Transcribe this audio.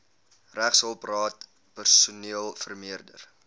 regshulpraad personeel vermeerder